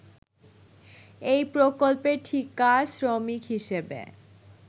এই প্রকল্পের ঠিকা শ্রমিক হিসেবে